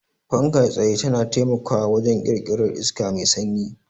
Fankar tsaye tana taimakawa wajen ƙirƙirar iska mai sanyi.